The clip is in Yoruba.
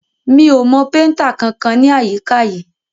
Mi ò mọ péntà kankan ní àyíká yìí.